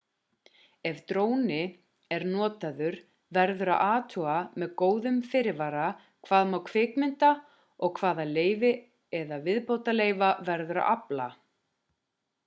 ef dróni er notaður verður að athuga með góðum fyrirvara hvað má kvikmynda og hvaða leyfa eða viðbótarleyfa verður að afla